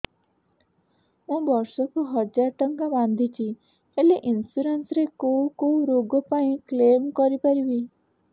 ମୁଁ ବର୍ଷ କୁ ହଜାର ଟଙ୍କା ବାନ୍ଧୁଛି ହେଲ୍ଥ ଇନ୍ସୁରାନ୍ସ ରେ କୋଉ କୋଉ ରୋଗ ପାଇଁ କ୍ଳେମ କରିପାରିବି